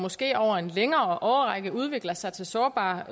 måske over en længere årrække udvikler sig til sårbar